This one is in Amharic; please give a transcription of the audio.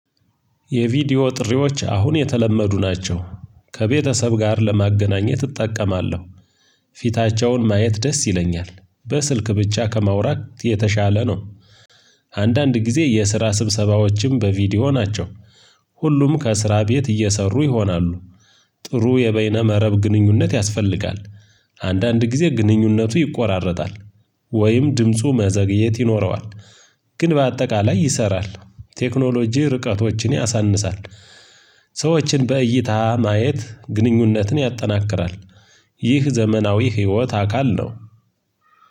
የቪዲዮ ጥሪዎች አሁን የተለመዱ ናቸው ከቤተሰብ ጋር ለማገናኘት እጠቀማለሁ። ፊታቸውን ማየት ደስ ይለኛል በስልክ ብቻ ከማውራት የተሻለ ነው። አንዳንድ ጊዜ የስራ ስብሰባዎችም በቪዲዮ ናቸው። ሁሉም ከስራ ቤት እየሰሩ ይሆናሉ። ጥሩ የበይነ መረብ ግንኙነት ያስፈልጋል። አንዳንድ ጊዜ ግንኙነቱ ይቆራረጣል። ወይም ድምፁ መዘግየት ይኖረዋል። ግን በአጠቃላይ ይሰራል ቴክኖሎጂ ርቀቶችን ያሳንሳል። ሰዎችን በእይታ ማየት ግንኙነትን ያጠናክራል። ይህ ዘመናዊ ህይወት አካል ነው።